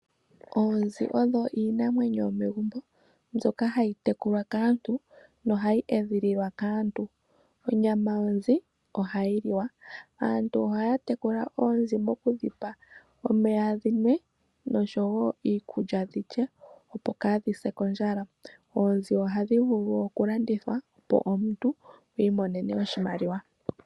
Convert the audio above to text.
Oonzi odho iinamwenyo yomegumbo mbyoka hayi tekulwa kaantu nohayi edhililwa kaantu. Onyama yonzi ohayi liwa. Aantu ohaya tekula oonzi moku dhipa omeya dhi nwe noshowo iikulya dhi lye opo kaadhi se kondjala. Oonzi ohadhi vulu oku landithwa opo omuntu i imonene oshimaliwa.